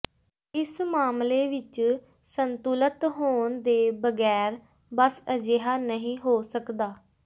ਇਸ ਮਾਮਲੇ ਵਿੱਚ ਸੰਤੁਲਤ ਹੋਣ ਦੇ ਬਗੈਰ ਬਸ ਅਜਿਹਾ ਨਹੀਂ ਹੋ ਸਕਦਾ